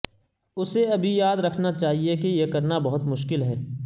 اسے ابھی یاد رکھنا چاہئے کہ یہ کرنا بہت مشکل ہے